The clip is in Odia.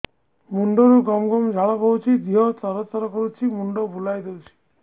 ମୁଣ୍ଡରୁ ଗମ ଗମ ଝାଳ ବହୁଛି ଦିହ ତର ତର କରୁଛି ମୁଣ୍ଡ ବୁଲାଇ ଦେଉଛି